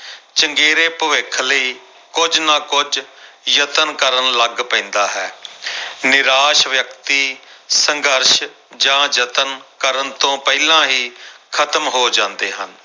ਚੰਗੇਰੇ ਭਵਿੱਖ ਲਈ ਕੁੱਝ ਨਾ ਕੁੱਝ ਯਤਨ ਕਰਨ ਲੱਗ ਪੈਂਦਾ ਹੈ ਨਿਰਾਸ਼ ਵਿਅਕਤੀ ਸੰਘਰਸ਼ ਜਾਂ ਯਤਨ ਕਰਨ ਤੋਂ ਪਹਿਲਾਂ ਹੀ ਖ਼ਤਮ ਹੋ ਜਾਂਦੇ ਹਨ।